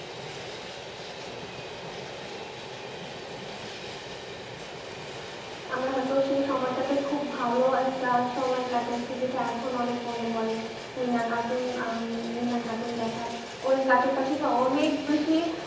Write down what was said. আমরা হয়তো সেই সময়টাতে খুব ভালো একটা সময় কাটাইছি যেটা এখন অনেক মনে পড়ে মিনা cartoon মিনা cartoon দেখা ঐ cartoon তা থেকে অনেক বেশি